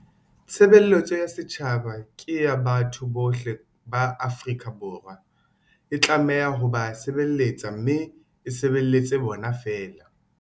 Tshebeletso ya setjhaba ke ya batho bohle ba Afrika Borwa. E tlameha ho ba se beletsa mme e sebeletse bona feela.